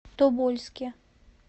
тобольске